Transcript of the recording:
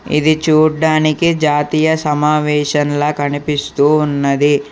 ఇది చూడ్డానికి జాతీయ సమావేషన్ల కనిపిస్తూ ఉన్నది.